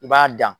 I b'a dan